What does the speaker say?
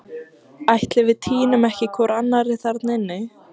Ætli við týnum ekki hvor annarri þarna inni?